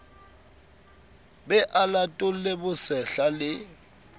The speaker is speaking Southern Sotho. be a latole bosehla le